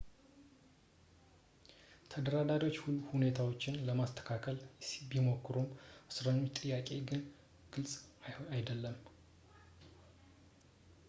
ተደራዳሪዎች ሁኔታውን ለማስተካከል ቢሞክሩም የእስረኞች ጥያቄ ግን ግልፅ አይደለም